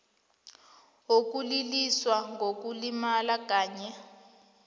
wokuliliswa ngokulimala kanye